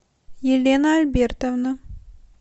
елена альбертовна